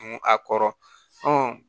Dun a kɔrɔ